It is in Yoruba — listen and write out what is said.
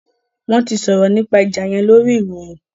Wọn tí sòrò nípa ìjà yén lórí ìròyìn